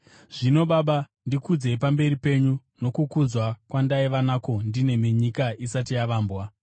Zvino, Baba, ndikudzei pamberi penyu nokukudzwa kwandaiva nako ndinemi nyika isati yavambwa.